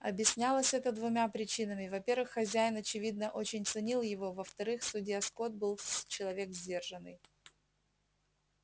объяснялось это двумя причинами во первых хозяин очевидно очень ценил его во вторых судья скотт был человек сдержанный